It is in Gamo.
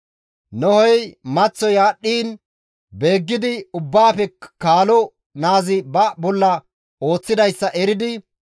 Nohey maththoy aadhdhiin beeggidi ubbaafe kaalo naazi ba bolla ooththidayssa eridi,